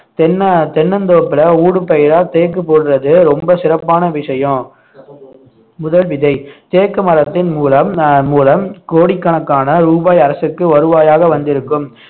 தென்ன~ தென்னந்தோப்புல ஊடுபயிரா தேக்கு போடுறது ரொம்ப சிறப்பான விஷயம் முதல் விதை தேக்கு மரத்தின் மூலம் அஹ் மூலம் கோடிக்கணக்கான ரூபாய் அரசுக்கு வருவாயாக வந்திருக்கும்